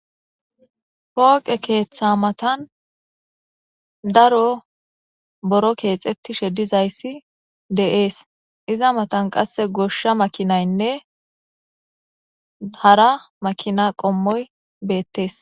Pooqe keeththa matan daro buro keexettishe dizayssi de'ees. Iza matan qasse goshsha makiinaynne hara makiina qommoy beettees.